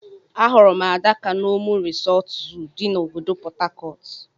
Ahụrụ m Adaka na Omu Resort Zoo di na obodo portharcourt.